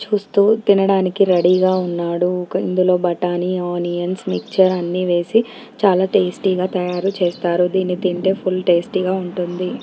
చూస్తూ తినడానికి రెఢీ గా ఉన్నాడు ఇందులో బటానీ ఆనియన్స్ మిక్స్చర్ అన్నీ వేసి చాలా టేస్ట్ గా తయారు చేస్తారు దీని తింటే ఫుల్ టేస్ట్ గా ఉంటుంది